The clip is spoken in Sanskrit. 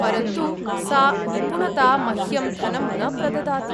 परन्तु सा निपुणता मह्यं धनं न प्रददाति।